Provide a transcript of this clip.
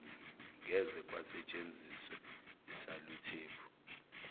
ngeze kwasentshenziswe isaluthephu